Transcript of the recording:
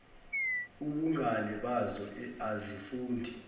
ubungane bazo azifundi